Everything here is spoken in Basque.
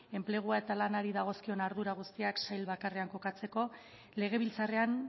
enplegua eta lanari dagozkion ardurak guztiak sail bakarrean kokatzeko legebiltzarrean